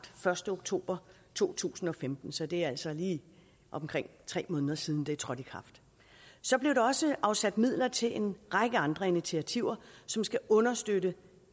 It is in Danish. første oktober to tusind og femten så det er altså lige omkring tre måneder siden det er trådt i kraft så blev der også afsat midler til en række andre initiativer som skal understøtte